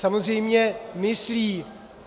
Samozřejmě myslí.